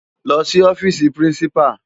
Lò si òfisi pirinsipá